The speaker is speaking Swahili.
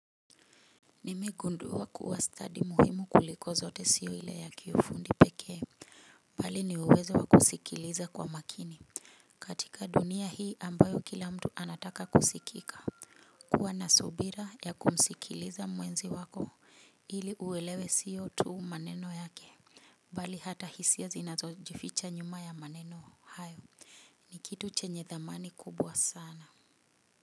Nmegundua kuwa stadi muhimu kuliko zote siyo ile ya kiufundi pekee. Bali ni uwezo wa kusikiliza kwa makini. Katika dunia hii ambayo kila mtu anataka kusikika kuwa na subira ya kumsikiliza mwenzi wako ili uwelewe siyo tuu maneno yake bali hata hisia zinazo jificha nyuma ya maneno hayo ni kitu chenye dhamani kubwa sana.